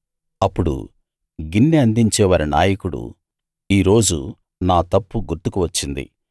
అప్పుడు గిన్నె అందించేవారి నాయకుడు ఈ రోజు నా తప్పు గుర్తుకు వచ్చింది